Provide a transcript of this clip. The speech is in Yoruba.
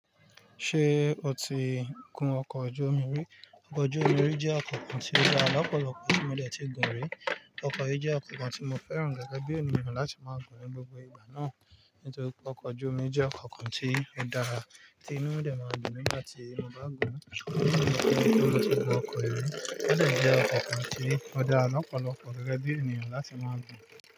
Ṣé o ti gun ọkọ̀ ojú omi rí? Ọkọ̀ ojú omi rí jẹ́ ọkọ̀ kan tí ó dá lọ́pọ̀lọ́pọ̀ ẹni tí mo dẹ̀ ti gàn rí. Ọkọ̀ yìí jẹ́ ọkọ̀ kan tí mo fẹ́ràn gẹ́gẹ́ bí ènìyàn láti máa gùn ní gbogbo ìgbà náà nítorí pé ọkọ̀ ojú omi jẹ́ ọkọ̀ kan tí ó dára tí inú rẹ̀ máa dùn mi nígbà tí mo bá gùn. Ṣùgbọ́n kí n tó kó pé mo ti gùn ọkọ̀ yìí, ó dẹ̀ jẹ́ ọkọ̀ kan tí ó dára lọ́pọ̀lọ́pọ̀ gẹ́gẹ́ bí ènìyàn láti máa gùn.